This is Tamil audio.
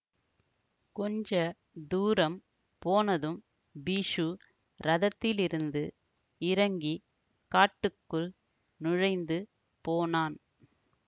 கொஞ்ச தூரம் போனதும் பிக்ஷு ரதத்திலிருந்து இறங்கி காட்டுக்குள் நுழைந்து போனான்